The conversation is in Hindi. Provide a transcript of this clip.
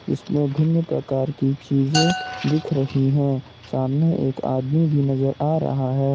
इसमें भिन्न प्रकार की चीजें दिख रही है सामने एक आदमी भी नजर आ रहा है।